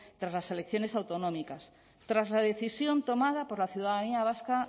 tras las elecciones autonómicas tras la decisión tomada por la ciudadanía vasca